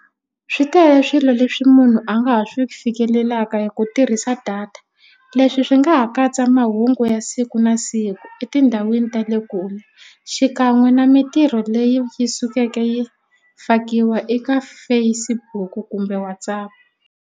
Swi tele swilo leswi munhu a nga ha swi fikelelaka hi ku tirhisa data leswi swi nga ha katsa mahungu ya siku na siku etindhawini ta le kule xikan'we na mitirho leyi yi sukeke yi fakiwa eka Facebook kumbe WhatsApp.